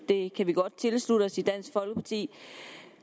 det kan vi godt tilslutte os i dansk folkeparti